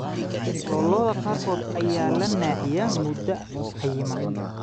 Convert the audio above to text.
Lo'da lo'da qaarkood ayaa la naaxiyaa muddo cayiman.